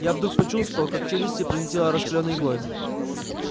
я вдруг почувствовал как челюсти пронзило раскалённой иглой